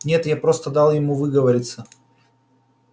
нет я просто дал ему выговориться